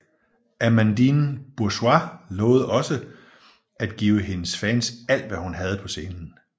Amandine Bourgeois lovede også at give hendes fans alt hvad hun havde på scenen